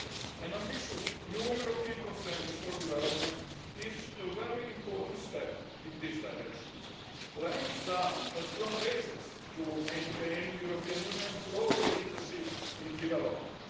An ambitious new European Consensus for Development is a very important step in this direction, laying down a strong basis for maintaining the European Union's global leadership in development.